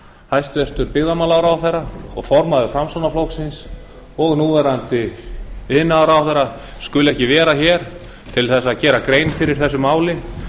hæstvirtur byggðamálaráðherra og formaður framsóknarflokksins og núverandi iðnaðarráðherra skuli ekki vera hér til að gera grein fyrir þessu máli